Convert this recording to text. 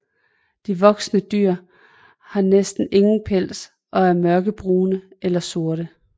De voksne dyr har næsten ingen pels og er mørkebrune eller sorte